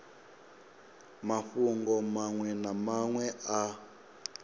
mafhungo manwe na manwe a